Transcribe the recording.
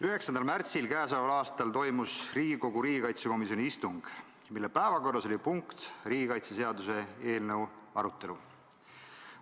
9. märtsil k.a toimus Riigikogu riigikaitsekomisjoni istung, mille päevakorras oli riigikaitseseaduse eelnõu arutelu.